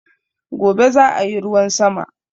Gobe zaa yi ruwan sama